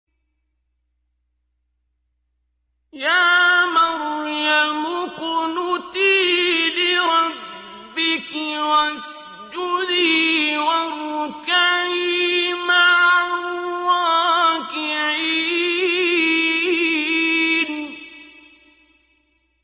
يَا مَرْيَمُ اقْنُتِي لِرَبِّكِ وَاسْجُدِي وَارْكَعِي مَعَ الرَّاكِعِينَ